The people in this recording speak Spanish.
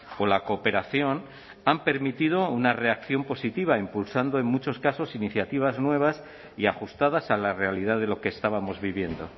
o la cooperación han permitido una reacción positiva impulsando en muchos casos iniciativas nuevas y ajustadas a la realidad de lo que estábamos viviendo